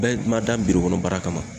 Bɛn ma dan biro kɔnɔ baara kama